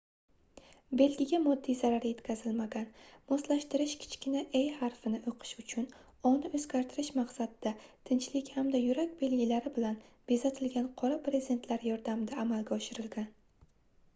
belgiga moddiy zarar yetkazilmagan; moslashtirish kichkina e harfini o'qish uchun o"ni o'zgartirish maqsadida tinchlik hamda yurak belgilari bilan bezatilgan qora brezentlar yordamida amalga oshirilgan